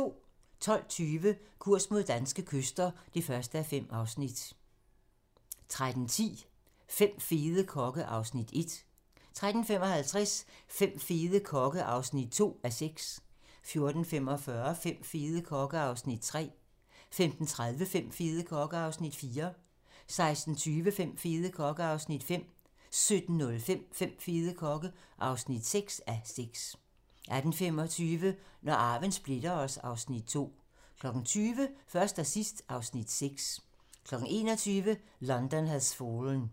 12:20: Kurs mod danske kyster (1:5) 13:10: Fem fede kokke (Afs. 1) 13:55: Fem fede kokke (2:6) 14:45: Fem fede kokke (3:6) 15:30: Fem fede kokke (4:6) 16:20: Fem fede kokke (5:6) 17:05: Fem fede kokke (6:6) 18:25: Når arven splitter os (Afs. 2) 20:00: Først og sidst (Afs. 6) 21:00: London Has Fallen